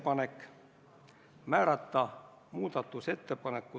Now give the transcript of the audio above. Panen hääletusele Eesti Reformierakonna fraktsiooni ettepaneku ...